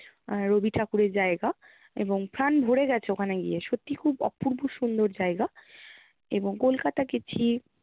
আহ রবি ঠাকুরের জায়গা এবং প্রান ভোরে গেছে ওখানে গিয়ে। সত্যি খুব অপূর্ব সুন্দর জায়গা এবং কলকাতা গেছি